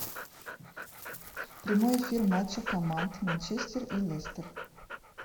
прямой эфир матча команд манчестер и лестер